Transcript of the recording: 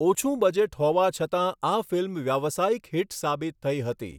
ઓછું બજેટ હોવા છતાં આ ફિલ્મ વ્યાવયાસિક હિટ સાબિત થઈ હતી.